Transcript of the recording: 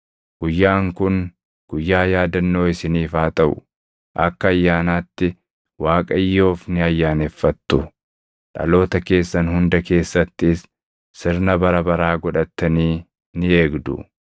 “Guyyaan kun guyyaa yaadannoo isiniif haa taʼu; akka ayyaanaatti Waaqayyoof ni ayyaaneffattu; dhaloota keessan hunda keessattis sirna bara baraa godhattanii ni eegdu.